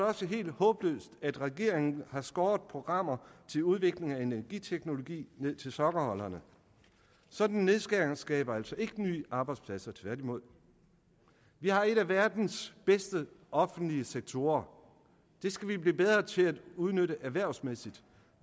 også helt håbløst at regeringen har skåret programmer til udvikling af energiteknologi ned til sokkeholderne sådanne nedskæringer skaber altså ikke nye arbejdspladser tværtimod vi har en af verdens bedste offentlige sektorer og det skal vi blive bedre til at udnytte erhvervsmæssigt